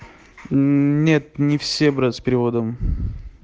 нет не все брат с переводом